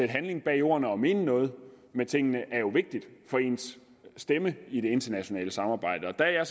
handling bag ordene og mene noget med tingene er vigtigt for ens stemme i det internationale samarbejde der er